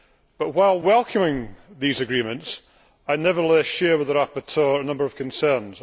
But, while welcoming these agreements, I nevertheless share with the rapporteur a number of concerns.